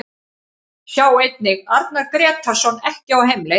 Sjá einnig: Arnar Grétarsson ekki á heimleið